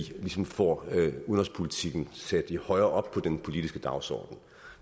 ligesom får udenrigspolitikken sat højere op på den politiske dagsorden